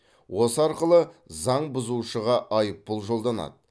осы арқылы заң бұзушыға айыппұл жолданады